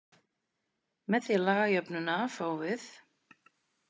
Með því að laga jöfnuna til fáum við: